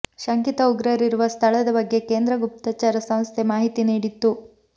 ಶಂಕಿತ ಉಗ್ರರಿರುವ ಸ್ಥಳದ ಬಗ್ಗೆ ಕೇಂದ್ರ ಗುಪ್ತಚರ ಸಂಸ್ಥೆ ಮಾಹಿತಿ ನೀಡಿತ್ತು